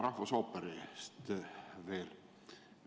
Ma küsin veel rahvusooperi kohta.